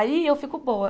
Aí eu fico boa.